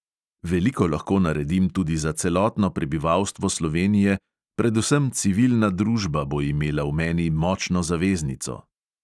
Veliko lahko naredim tudi za celotno prebivalstvo slovenije, predvsem civilna družba bo imela v meni močno zaveznico.